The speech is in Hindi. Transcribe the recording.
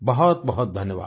बहुतबहुत धन्यवाद